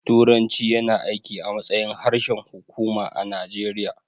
Turanci yana aiki a matsayin harshen hukuma a Najeriya